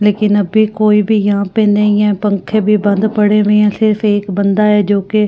लेकिन अभी कोई भी यहां पे नहीं है पंखे भी बंद पड़े हुए हैं सिर्फ एक बंदा है जो के --